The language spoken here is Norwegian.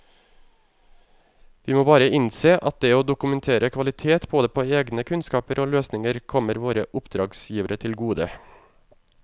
Vi må bare innse at det å dokumentere kvalitet både på egne kunnskaper og løsninger kommer våre oppdragsgivere til gode.